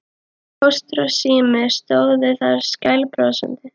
Póstur og Sími stóðu þar skælbrosandi.